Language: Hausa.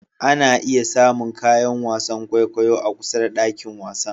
Ana iya samun kayan wasan kwaikwayo a kusa da dakin wasan.